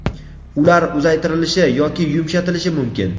ular uzaytirilishi yoki yumshatilishi mumkin.